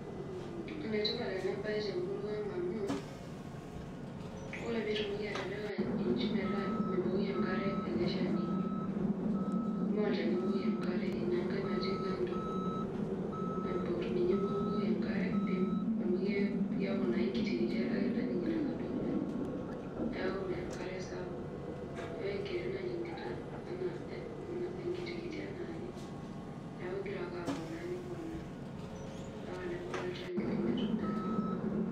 Enetipat enabae tenurua aang amu ore pitumoki atipika nji metaa mibukoki enkare olchamba, maa olchani ibukoki enkare inangae natii kando naibor, ninye ibukoki enkare metaa enkitikiti ake najingita ilo Shani neaku meya enkare sapuk metaa enkiti najingita metaa enkiti anaake ,neaku ingira ake aponaaambaka nebulu olchani lini aitobiraki.